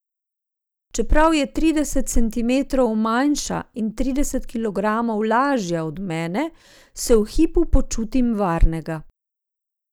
Čeprav je trideset centimetrov manjša in trideset kilogramov lažja od mene, se v hipu počutim varnega.